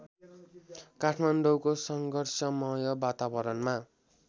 काठमाडौँको सङ्घर्षमय वातावरणमा